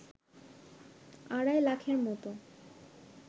আড়াই লাখের মতো